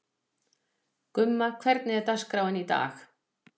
Gumma, hvernig er dagskráin í dag?